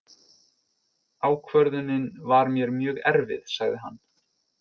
Ákvörðunin var mér mjög erfið, sagði hann.